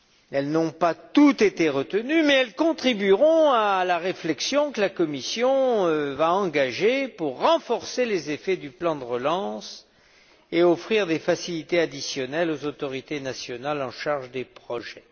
Elles n'ont pas toutes été retenues, mais elles contribueront à la réflexion que la Commission va engager pour renforcer les effets du plan de relance et offrir des facilités additionnelles aux autorités nationales en charge des projets.